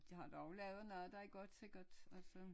De har dog lavet noget der er godt sikkert altså